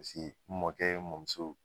Paseke n mɔkɛ, n mɔmuso